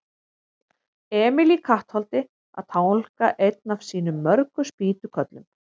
Emil í Kattholti að tálga einn af sínum mörgu spýtukörlum.